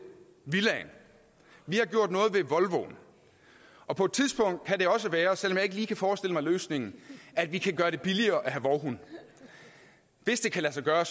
villaen vi har gjort noget ved volvoen og på et tidspunkt kan det også være selv om jeg ikke lige kan forestille mig løsningen at vi kan gøre det billigere at have vovhund hvis det kan lade sig gøre